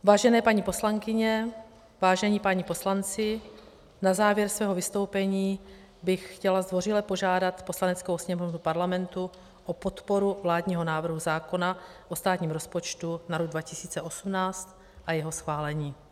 Vážené paní poslankyně, vážení páni poslanci, na závěr svého vystoupení bych chtěla zdvořile požádat Poslaneckou sněmovnu Parlamentu o podporu vládního návrhu zákona o státním rozpočtu na rok 2018 a jeho schválení.